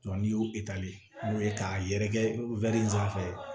n'i y'o n'o ye k'a yɛrɛkɛ sanfɛ